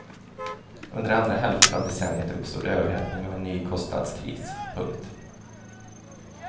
Under andra hälften av decenniet uppstod överhettning och en ny kostnadskris. punkt